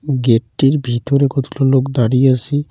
Gate -টির ভিতরে কতগুলো লোক দাঁড়িয়ে আসে।